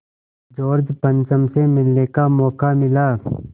George पंचम से मिलने का मौक़ा मिला